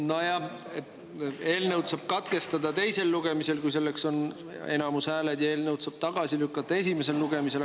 Nojah, eelnõu teise lugemise saab katkestada, kui selleks on häälteenamus, ja eelnõu saab tagasi lükata esimesel lugemisel.